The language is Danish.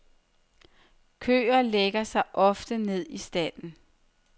Køer lægger sig ofte ned i stalden.